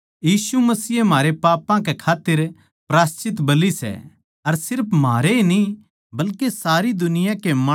जै हम परमेसवर के हुकम का पालन करांगे उस्से तै हमनै बेरा लाग्गैगा के हम उस ताहीं जाणागे सां